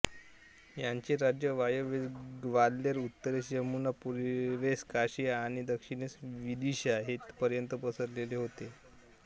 याचे राज्य वायव्येस ग्वाल्हेर उत्तरेस यमुना पूर्वेस काशी आणि दक्षिणेस विदिशा येथपर्यंत पसरलेले होते